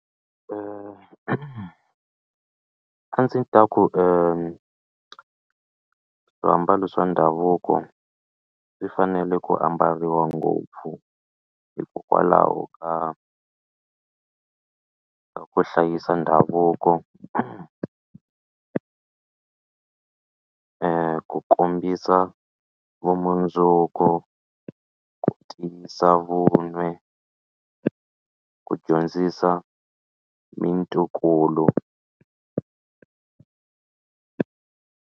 A ndzi ta ku swiambalo swa ndhavuko swi fanele ku ambariwa ngopfu hikokwalaho ka ku hlayisa ndhavuko ku kombisa vumundzuku ku tiyisa vun'we ku dyondzisa mintokolo.